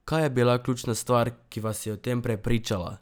Kaj je bila ključna stvar, ki vas je o tem prepričala?